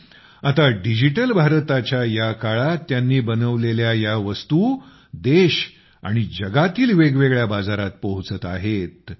पण आता डिजिटल भारतच्या या काळात त्यांनी बनवलेल्या या वस्तु देश आणि जगातील वेगवेगळ्या बाजारात पोहचत आहेत